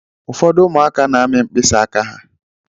Ụfọdụ ụmụaka na-amị mkpịsị aka ha.